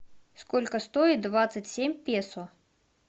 сколько стоит двадцать семь песо